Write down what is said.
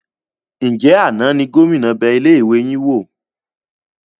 Ńjẹ̀ àná ni Gómìnà bẹ ilé ìwé yín wò?